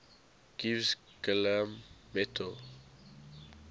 gives gallium metal